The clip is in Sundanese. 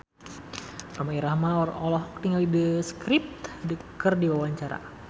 Rhoma Irama olohok ningali The Script keur diwawancara